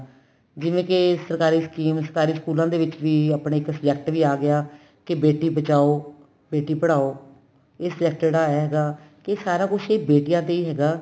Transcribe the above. ਜਿਵੇਂ ਕੇ ਸਰਕਾਰੀ scheme ਸਰਕਾਰੀ ਸਕੂਲਾ ਦੇ ਵਿੱਚ ਵੀ ਆਪਣੇ ਇੱਕ subject ਵੀ ਆ ਗਿਆ ਕੀ ਬੇਟੀ ਬਚਾਉ ਬੇਟੀ ਪੜ੍ਹਾਉ ਇਹ subject ਜਿਹੜਾ ਹੈਗਾ ਕਿ ਸਾਰਾ ਕੁੱਝ ਬੇਟੀਆਂ ਤੇ ਹੀ ਹੈਗਾ